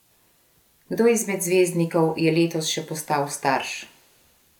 Kdo izmed zvezdnikov je letos še postal starš?